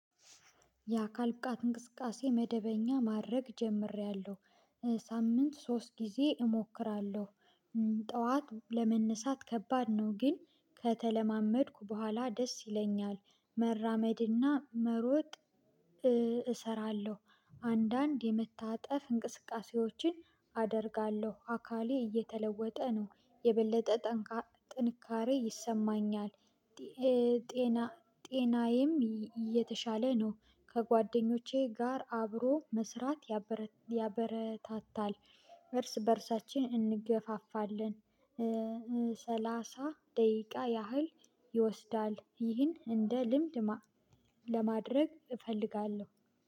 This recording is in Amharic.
የአካል ብቃት እንቅስቃሴ መደበኛ ማድረግ ጀምሬያለሁ ሳምንት ሶስት ጊዜ እሞክራለሁ። ጠዋት ለመነሳት ከባድ ነው። ግን ከተለማመድኩ በኋላ ደስ ይለኛል መራመድና መሮጥ። እሰራለሁ አንዳንድ የመታጠፍ እንቅስቃሴዎችን አደርጋለሁ። አካሌ እየተለወጠ ነው የበለጠ ጠንካራ ጥንካሬ ይሰማኛል። ጤና ጤናዬም የተሻለ ነው። ከጓደኞቼ ጋር አብሮ መስራት ያበረታታል እርስ በእርሳችን እንገፋፋለን። ሰላሳ ደቂቃ ያህል ይወስዳል። ይህን እንደ ልምድ ለማድረግ እፈልጋለሁ